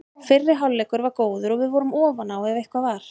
Fyrri hálfleikur var góður og við vorum ofan á ef eitthvað var.